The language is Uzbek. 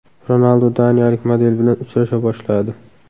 Ronaldu daniyalik model bilan uchrasha boshladi.